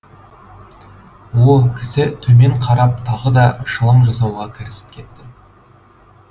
о кісі төмен қарап тағы да шылым жасауға кірісіп кетті